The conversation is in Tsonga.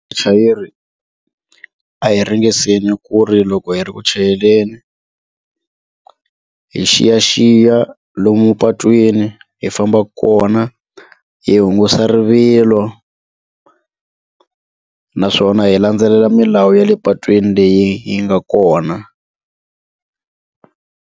A hi ringeseni ku ri loko hi ri ku chayeleni hi xiyaxiya lomu patwini hi fambaka kona hi hungusa rivilo naswona hi landzelela milawu ya le patwini leyi yi nga kona.